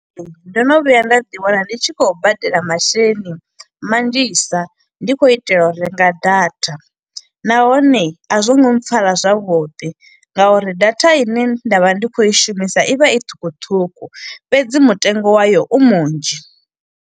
ndo no vhuya nda ḓi wana ndi tshi khou badela masheleni manzhisa, ndi khou itela u renga data. Nahone a zwo ngo pfara zwavhuḓi, ngauri data ine nda vha ndi khou i shumisa i vha i ṱhukhuṱhukhu, fhedzi mutengo wayo u munzhi.